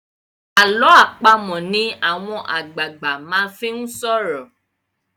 àlọ́ àpamọ̀ ni àwọn àgbààgbà máa ńfi sọrọ